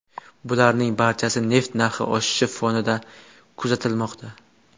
Bularning barchasi neft narxi oshishi fonida kuzatilmoqda.